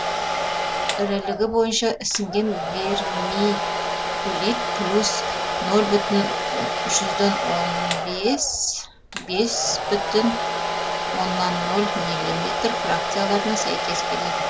ірілігі бойынша ісінген вермикулит плюс нөл бүтін жүзден он бес бес бүтін оннан нөл миллиметр фракцияларына сәйкес келеді